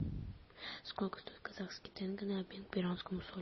сколько стоит казахский тенге на обмен к перуанскому солю